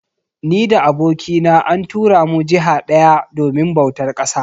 Ni da abokina an tura mu jiha daya domin bautar ƙasa